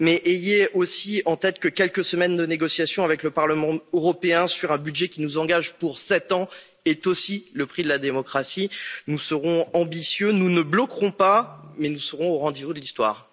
Ayez cependant aussi en tête que quelques semaines de négociations avec le Parlement européen, sur un budget qui nous engage pour 7 ans est aussi le prix de la démocratie nous serons ambitieux, nous ne bloquerons pas mais nous serons au rendez vous de l'histoire.